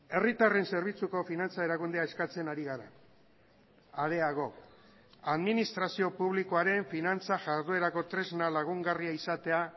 herritarren zerbitzuko finantza erakundea eskatzen ari gara areago administrazio publikoaren finantza jarduerako tresna lagungarria izatea